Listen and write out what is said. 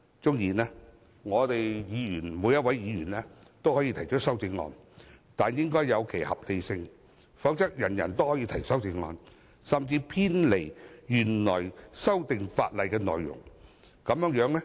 縱使每一位議員都可以提出修正案，但應有其合理性，否則人人都可以提出偏離原來法例內容的修正案。